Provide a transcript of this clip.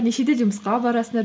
нешеде жұмысқа барасыңдар